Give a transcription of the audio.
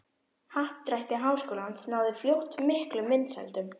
Happdrætti Háskólans náði fljótt miklum vinsældum.